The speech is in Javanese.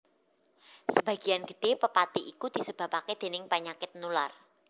Sebagian gedhé pepati iku disebabaké déning panyakit nular